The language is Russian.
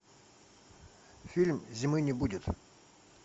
фильм зимы не будет